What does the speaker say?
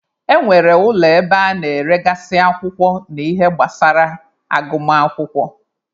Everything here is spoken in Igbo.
E nwere ụlọ ebe a na-eregasị akwụkwọ na ihe gbasara agụmakwụkwọ.